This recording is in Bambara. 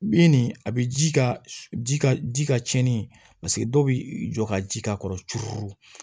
I nin a bi ji ka ji ka ji ka cɛnni paseke dɔw bi jɔ ka ji k'a kɔrɔ turu